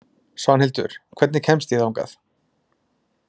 Svanhildur, hvernig kemst ég þangað?